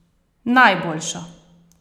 Najboljšo!